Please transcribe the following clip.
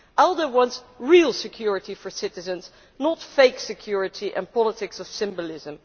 ALDE wants real security for citizens, not fake security and politics of symbolism.